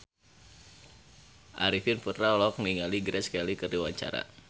Arifin Putra olohok ningali Grace Kelly keur diwawancara